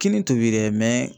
Kinin tobi dɛ